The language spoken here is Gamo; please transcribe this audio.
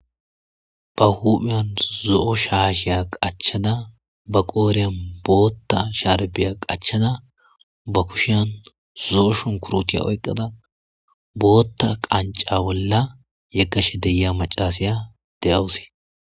ba hupheyan zo7o shaasheya qachada ba qooreyan bootta shaarbiya qachada ba kushiyan zo7o shun kurutiya oyqqada bootta qanca bolla yeqashe deyia macasiya de7awuse